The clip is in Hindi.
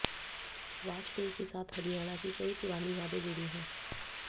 वाजपेयी के साथ हरियाणा की कई पुरानी यादें जुड़ी हैं